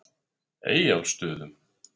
Eyjólfsstöðum